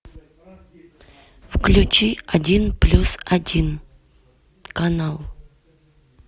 включи один плюс один канал